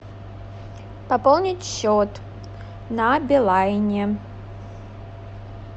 пополнить счет на билайне